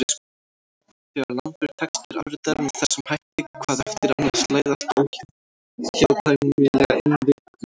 Þegar langur texti er afritaður með þessum hætti hvað eftir annað slæðast óhjákvæmilega inn villur.